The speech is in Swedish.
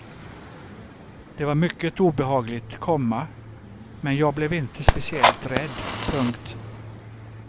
Det var mycket obehagligt, komma men jag blev inte speciellt rädd. punkt